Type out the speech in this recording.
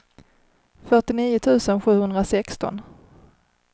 fyrtionio tusen sjuhundrasexton